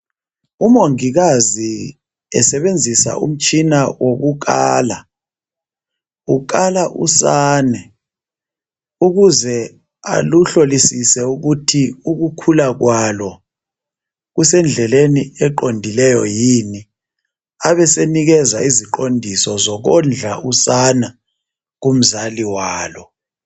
Umongikazi esebenzisa umtshina wokukala, ukala usane ukuze aluhlolisise ukuthi ukukhula kwalo kusendleleni eqondileyo yini abesenikeza iziqondiso zokondla usana kumzali walo.